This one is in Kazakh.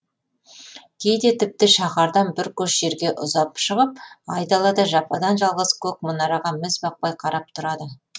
кейде тіпті шаһардан бір көш жерге ұзап шығып айдалада жападан жалғыз көк мұнараға міз бақпай қарап тұрады